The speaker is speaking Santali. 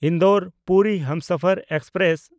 ᱤᱱᱫᱳᱨ–ᱯᱩᱨᱤ ᱦᱟᱢᱥᱟᱯᱷᱟᱨ ᱮᱠᱥᱯᱨᱮᱥ